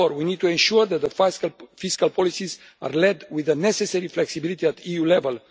Therefore, we need to ensure that the fiscal policies are led with the necessary flexibility at EU level.